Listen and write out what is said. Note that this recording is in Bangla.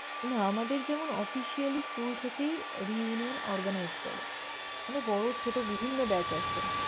না আমাদের যেমন officially school থেকেই reunion organize করে। মানে বড়ো, ছোট বিভিন্ন batch আসে।